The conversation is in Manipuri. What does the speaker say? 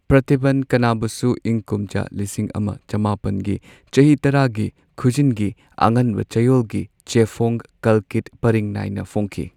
ꯄ꯭ꯔꯇꯤꯕꯟ ꯀꯥꯅꯥꯕꯨꯁꯨ ꯏꯪ ꯀꯨꯝꯖꯥ ꯂꯤꯁꯤꯡ ꯑꯃ ꯆꯃꯥꯄꯟꯒꯤ ꯆꯍꯤ ꯇꯔꯥꯒꯤ ꯈꯨꯖꯤꯡꯒꯤ ꯑꯉꯟꯕ ꯆꯌꯣꯜꯒꯤ ꯆꯦꯐꯣꯡ ꯀꯜꯀꯤꯗ ꯄꯔꯤꯡ ꯅꯥꯏꯅ ꯐꯣꯡꯈꯤ꯫